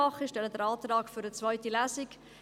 Ich stelle den Antrag auf eine zweite Lesung.